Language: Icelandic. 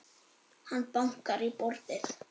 Hann bankar í borðið.